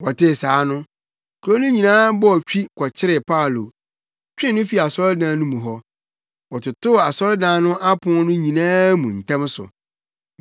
Wɔtee saa no, kurow mu no nyinaa bɔɔ twi kɔkyeree Paulo, twee no fii asɔredan no mu hɔ. Wɔtotoo asɔredan no apon no nyinaa mu ntɛm so.